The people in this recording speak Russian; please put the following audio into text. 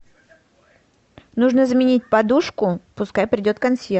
нужно заменить подушку пускай придет консьерж